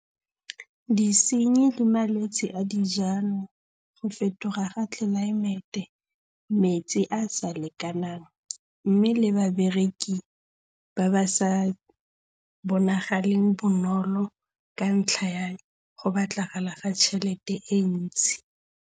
Disenyi le malwetse a dijalo, go fetoga ga tlelaemete, metsi a a sa lekanang mme le babereki ba ba sa bonagaleng bonolo ka ntlha ya go batlagala ga tšhelete e ntsi.